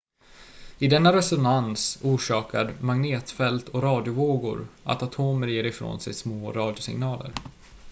i denna resonans orsakar magnetfält och radiovågor att atomer ger ifrån sig små radiosignaler